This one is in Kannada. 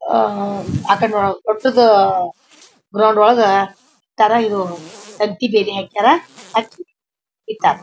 ಆಹ್ ಆ ಕಡೆ ವಟ್ಟೂದ ಗ್ರೌಂಡ್ ಒಳಗ್ ತರ ಇವು ತಂತಿ ಬೇಲಿ ಹಾಕ್ಯಾರ್ ಇಟ್ಟರ.